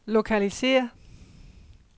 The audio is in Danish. lokalisér